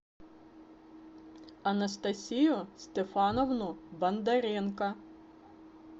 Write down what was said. анастасию стефановну бондаренко